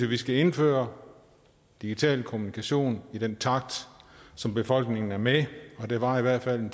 vi skal indføre digital kommunikation i en takt så befolkningen er med og det varer i hvert fald